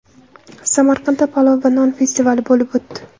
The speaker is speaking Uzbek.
Samarqandda palov va non festivali bo‘lib o‘tdi .